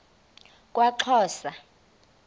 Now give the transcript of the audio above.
kwaxhosa